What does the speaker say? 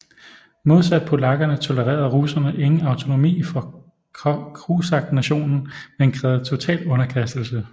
Modsat polakkerne tolererede russerne ingen autonomi for kosaknationen men krævede total underkastelse